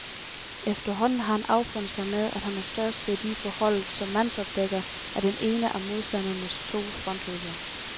Efterhånden har han affundet sig med, at han har størst værdi for holdet som mandsopdækker af den ene af modstandernes to frontløbere.